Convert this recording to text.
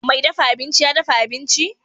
Mai dafa abinci ya dafa abinci?